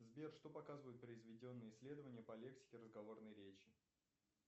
сбер что показывают произведенные исследования по лексике разговорной речи